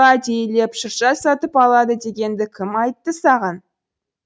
әдейілеп шырша сатып алады дегенді кім айтты саған